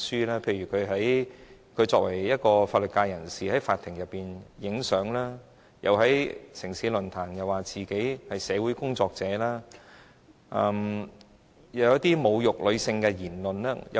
例如作為一位法律界人士，他在法庭拍照，又在"城市論壇"說自己是社會工作者，還說出一些侮辱女性的言論。